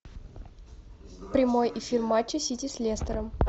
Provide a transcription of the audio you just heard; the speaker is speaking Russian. прямой эфир матча сити с лестером